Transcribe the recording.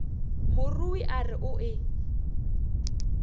morui a re o e